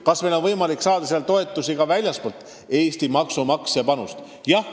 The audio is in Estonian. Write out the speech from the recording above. Kas meil on võimalik saada selleks toetust, nii et kogu raha ei pea tulema Eesti maksumaksja taskust?